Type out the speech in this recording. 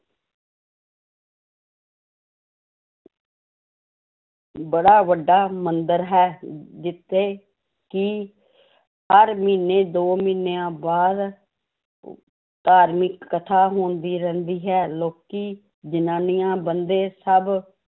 ਬੜਾ ਵੱਡਾ ਮੰਦਿਰ ਹੈ ਅਮ ਜਿੱਥੇ ਕਿ ਹਰ ਮਹੀਨੇ ਦੋ ਮਹੀਨਿਆਂ ਬਾਅਦ ਧਾਰਮਿਕ ਕਥਾ ਹੁੰਦੀ ਰਹਿੰਦੀ ਹੈ ਲੋਕੀ, ਜ਼ਨਾਨੀਆਂ, ਬੰਦੇ ਸਭ